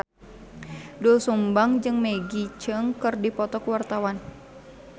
Doel Sumbang jeung Maggie Cheung keur dipoto ku wartawan